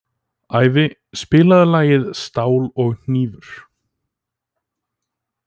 Ævi, spilaðu lagið „Stál og hnífur“.